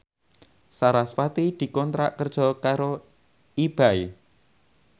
sarasvati dikontrak kerja karo Ebay